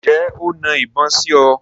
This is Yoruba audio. Ǹjẹ́ o na ìbọn sí ọ?